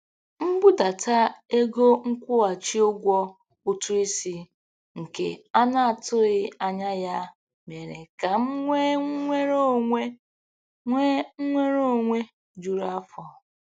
Mbudata ego nkwụghachi ụgwọ ụtụisi nke a na-atụghị anya ya mere ka m nwee nnwere onwe nwee nnwere onwe juru afọ.